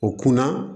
O kunna